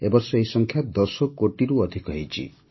ଏ ବର୍ଷ ଏହି ସଂଖ୍ୟା ୧୦ କୋଟିରୁ ଅଧିକ ହୋଇଛି